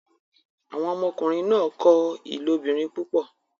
Awọn ọmọkunrin náà kọ ilobirin púpọ